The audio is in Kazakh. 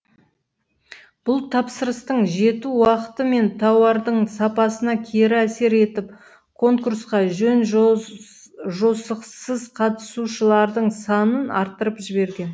бұл тапсырыстың жету уақыты мен тауардың сапасына кері әсер етіп конкурсқа жөн жосықсыз қатысушылардың санын арттырып жіберген